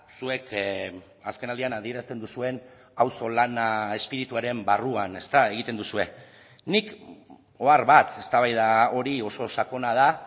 zuek azkenaldian adierazten duzuen auzolana espirituaren barruan egiten duzue nik ohar bat eztabaida hori oso sakona da